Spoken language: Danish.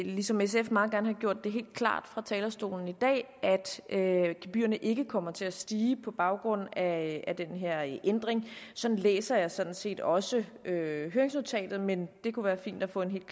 ligesom sf meget gerne have gjort det helt klart fra talerstolen i dag at gebyrerne ikke kommer til at stige på baggrund af den her ændring sådan læser jeg sådan set også høringsnotatet men det kunne være fint at få et